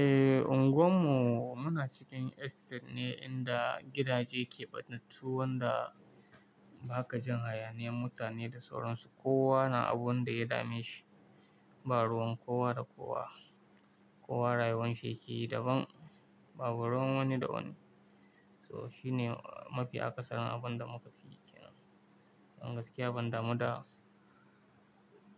Eh, unguwar mu muna cikin estate ne inda gidaje ke ɓatattu, wan da ba ka jin hayaniyan mutane da sauransu. Kowa na abun da ya dame shi, ba ruwan kowa da kowa. Kowa rayuwar shi yake yi daban, babu ruwan wani da wani. So shi ne mafi akasarin abun da muka fi yi kenan. Don gaskiya ban damu da,